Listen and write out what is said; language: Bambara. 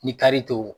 Ni kari tɛ o